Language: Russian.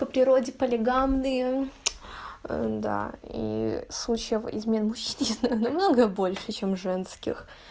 то природе полигамны да и случаев измен мужчин много больше чем женских